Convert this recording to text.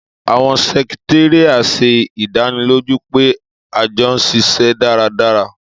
Àwọn sẹkitaria ṣe idaniloju pe àjọ n ṣiṣẹ daradara.